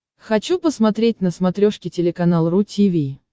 хочу посмотреть на смотрешке телеканал ру ти ви